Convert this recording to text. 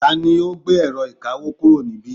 tani ó gbé ẹ̀rọ ìkawó kúrò níbí